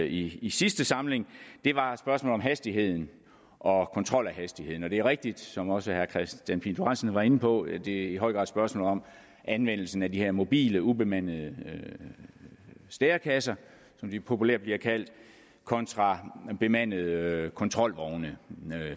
i i sidste samling var et spørgsmål om hastigheden og kontrol af hastigheden det er rigtigt som også herre kristian pihl lorentzen var inde på at det i høj grad er et spørgsmål om anvendelsen af de her mobile ubemandede stærekasser som de populært bliver kaldt kontra bemandede kontrolvogne